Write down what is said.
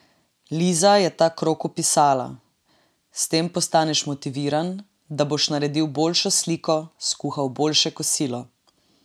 Liza je ta krog opisala: "S tem postaneš motiviran, da boš naredil boljšo sliko, skuhal boljše kosilo ...